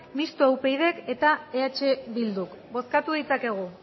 mistoa upydk eta eh bilduk bozkatu dezakegu